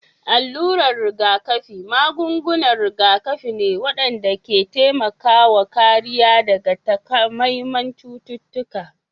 Alurar rigakafi magungunan rigakafi ne waɗanda ke taimakawa kariya daga takamaiman cututtuka